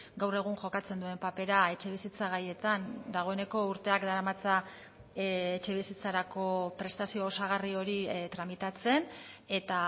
gaur egun jokatzen duen papera etxebizitza gaietan dagoeneko urteak daramatza etxebizitzarako prestazio osagarri hori tramitatzen eta